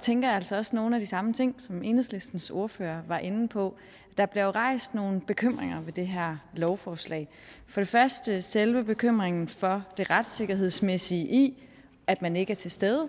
tænker jeg altså også nogle af de samme ting som enhedslistens ordfører var inde på der blev rejst nogle bekymringer ved det her lovforslag for det første er der selve bekymringen for det retssikkerhedsmæssige i at man ikke er til stede